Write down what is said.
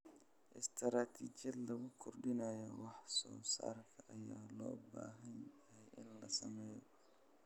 Istaraatiijiyad lagu kordhinayo wax soo saarka ayaa loo baahan yahay in la sameeyo.